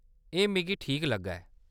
एह्‌‌ मिगी ठीक लग्गा ऐ।